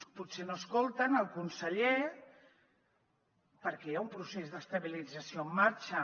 potser no escolten el conseller perquè hi ha un procés d’estabilització en marxa